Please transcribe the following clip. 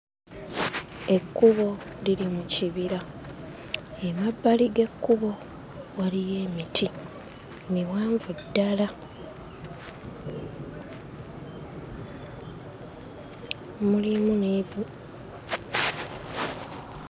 Ekkubo liri mu kibira, emabbali g'ekkubo waliyo emiti; miwanvu ddala. Mulimu n'ebi...